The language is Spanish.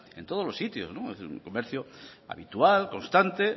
en todos los sitio es decir es un comercio habitual constante